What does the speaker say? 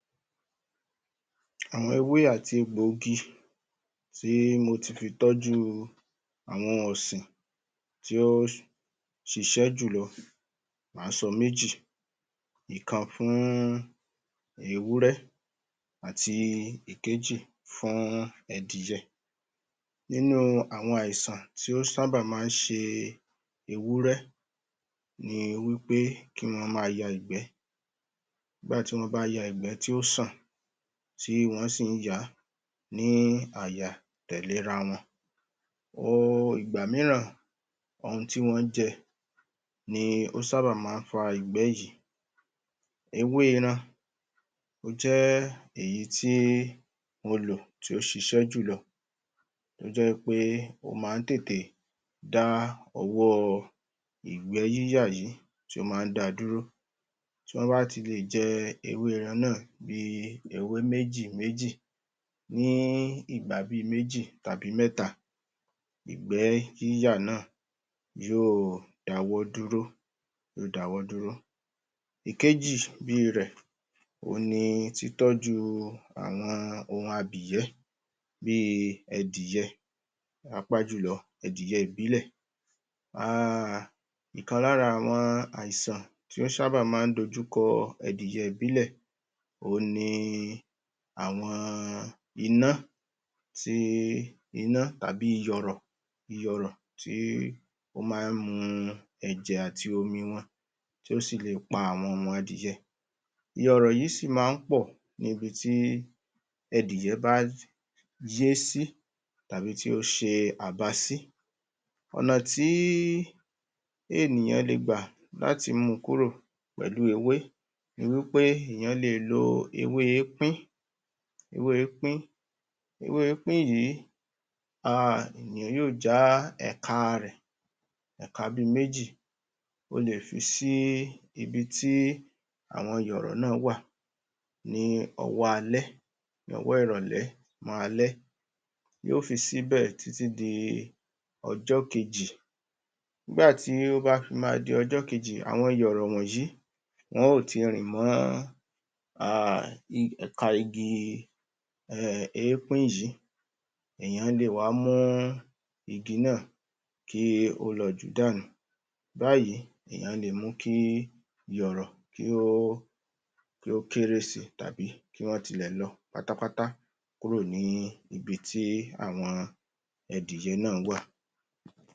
Àwọn ewé àti egbò igi tí mo ti fi tọ́jú àwọn ọ̀sìn tí ó ṣiṣẹ́ jùlọ, mà á sọ méjì ọ̀kan fún Ewúrẹ́ ti ẹ̀kejì fún adìẹ nínú àwọn àìsàn tí ó sábà máa ń ṣe ewúrẹ́, ni wí pé kí wọ́n máa ya ìgbẹ́ wá tún máa ya ìgbẹ́ tí ó ṣàn tí wọ́n sì ń yàá ní àyà-tẹ̀lé-ra-wọn. um ìgbà mìíràn ohun tí wọ́n jẹ ni ó sábà máa ń fa ìgbẹ́ yìí ewé iran ó jẹ́ èyí tí mo lò, tí ó ṣiṣẹ́ jùlọ. ó jẹ́ wí pé, ó máa ń tètè dá ọwọ́ ìgbẹ́ yíyà yìí, tí ó máa ń da dúró tọ́ bá ti lè jẹ ewé iran náà ní ewé méjì méjì ní ìgbà bi méjì àbí mẹ́ta, ìgbẹ́ yíyà náà yóò dáwọ́ dúró yóò dáwọ́ dúró ìkejì bíì rẹ̀ òun ni títọ́jú, àwọn ohun abìyẹ̀ bíì adìẹ páapáa jùlọ adìẹ ìbílẹ̀ um ọ̀kan lára àwọn àìsàn tí ó sábà máa ń dojúkọ adìẹ ìbílẹ̀ òun ni àwọn iná ti iná tàbí iyọrọ iyọrọ tí ó máa ń mu ẹ̀jẹ̀ àti omi wọn tó sì lè pa àwọn ọmọ adìẹ iyọrọ yìí sí máa ń pọ̀ ní bi tí adìẹ bá yé sí tàbí tí ó ṣe àbá sí ọ̀nà tí ènìyàn le gbà láti mu kúrò pẹ̀lú ewé ewé ípín, èèyàn le lo ewé ípín ewé ípín, ewé ípín yìí, um èèyàn yóò já ẹ̀ka rẹ̀ ẹ̀ka bíi méjì o lè fi sí ibi tí àwọn ìyọ̀rọ̀ náà wà ní ọwọ́ alẹ́ ní ọwọ́ ìrọ̀lẹ́ mọ́ alẹ́ yóò fi síbẹ̀ títí di ọjọ́ kejì, nígbà tí yóò fi máa di ọjọ́ kejì, àwọn iyọrọ wọ̀nyìí, wọn ó ti rìn mọ́ um ẹ̀ka igi um ípín yìí. Èèyàn lè wá mú igi náà kí ó lọ jù ú dànù. báyìí èèyàn lè mu kí iyọrọ kí ó kí ó kéré si tàbí kí wọ́n ti lẹ̀ lọ pátápátá kúrò ní ibi tí àwọn adìẹ náà wà.